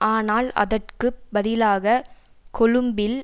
ஆனால் அதற்கு பதிலாக கொழும்பில்